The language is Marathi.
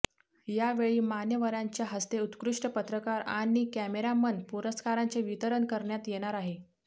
यावेळी मान्यवरांच्या हस्ते उत्कृष्ट पत्रकार आणि कॅमेरामन पुरस्कारांचे वितरण करण्यात येणार आहे